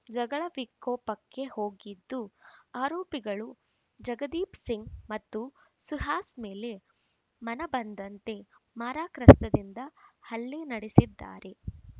ಜಗಳ ವಿಕೋಪಕ್ಕೆ ಹೋಗಿದ್ದು ಆರೋಪಿಗಳು ಜಗದೀಪ್‌ ಸಿಂಗ್‌ ಮತ್ತು ಸುಹಾಸ್‌ ಮೇಲೆ ಮನ ಬಂದಂತೆ ಮಾರಕಾಸ್ತ್ರದಿಂದ ಹಲ್ಲೆ ನಡೆಸಿದ್ದಾರೆ